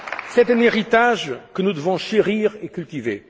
C'est un héritage que nous devons chérir et cultiver.